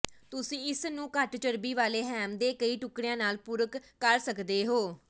ਤੁਸੀਂ ਇਸ ਨੂੰ ਘੱਟ ਚਰਬੀ ਵਾਲੇ ਹੈਮ ਦੇ ਕਈ ਟੁਕੜਿਆਂ ਨਾਲ ਪੂਰਕ ਕਰ ਸਕਦੇ ਹੋ